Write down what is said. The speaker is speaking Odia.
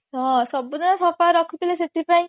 ହଁ ସବୁଦିନେ ସଫା ରଖୁଥିଲେ ସେଥିପାଇଁ